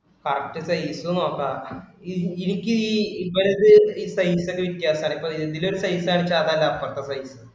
correct size നോക്കുക. എനിക്ക് ഈ ഇപ്പോഴത്തെ size ഇന്റെ വ്യത്യാസം ആണ്. ഇപ്പൊ ഇതിലൊരു size ആണ് വെച്ചാ അതല്ല അപ്പുറത്തെ size